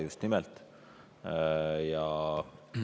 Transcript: Just nimelt!